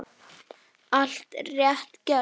Allt rétt gert.